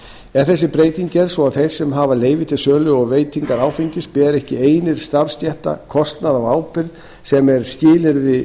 er þessi breyting gerð svo að þeir sem hafa leyfi til sölu og veitingar áfengis beri ekki einir starfsstétta kostnað af ábyrgð sem er skilyrði